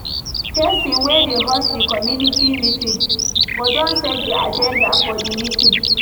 Person wey dey host di commumity meeting go don set di aganda of di meeting